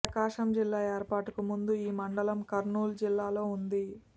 ప్రకాశం జిల్లా ఏర్పాటుకు ముందు ఈ మండలం కర్నూలు జిల్లాలో ఉంది